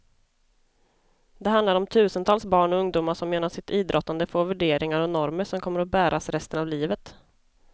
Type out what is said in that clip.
Det handlar om tusentals barn och ungdomar som genom sitt idrottande får värderingar och normer som kommer att bäras resten av livet.